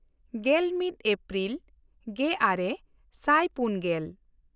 ᱜᱮᱞᱢᱤᱫ April ᱜᱮᱼᱟᱨᱮ ᱥᱟᱭ ᱯᱩᱱᱜᱮᱞ